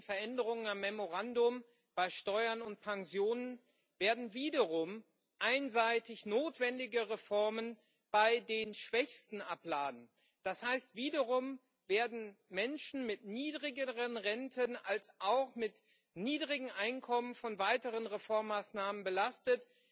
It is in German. Die jüngsten Veränderungen am Memorandum bei Steuern und Pensionen werden wiederum einseitig notwendige Reformen bei den Schwächsten abladen. Das heißt, wiederum werden Menschen mit niedrigeren Renten als auch mit niedrigen Einkommen von weiteren Reformmaßnahmen belastet.